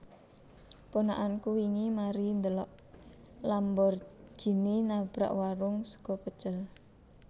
Ponakanku wingi mari ndhelok Lamborghini nabrak warung sego pecel